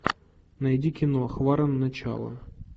найди кино хваран начало